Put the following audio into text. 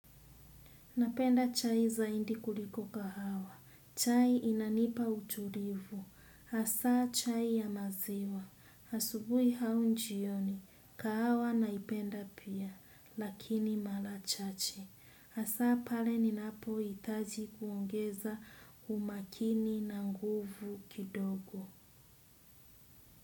Napenda chai zaidi kuliko kahawa. Chai inanipa utulivu. Hasa chai ya maziwa. Asubuhi au jioni. Kahawa naipenda pia. Lakini mara chache. Hasa pale ninapo hitaji kuongeza umaakini na nguvu kidogo.